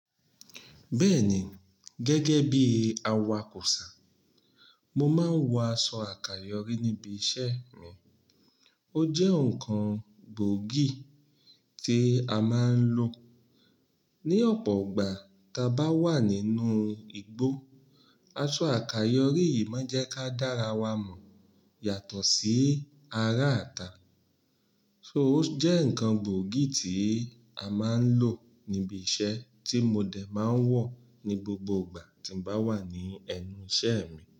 Bẹ́ẹ̀ni, gẹ́gẹ́ bí awakosá, mo máa ń wọ aṣọ àkàyọ́rí níbi iṣẹ́ mi. Ó jẹ́ ǹkan gbòógì tí a máa ń lò ní ọ̀pọ̀ ọgbà tá bá wà nínú igbó. Aṣọ àkàyọ́rí yìí máa ń jẹ́ ká dára wa mọ̀ yàtọ̀ sí ará ta. So ó jẹ́ ǹkan gbòógì tí a máa ń lò níbi iṣẹ́ tí mo dè máa ń wọ̀ ní gbogbo ìgbà tí mo bá wà ní ẹnu iṣẹ́ mi.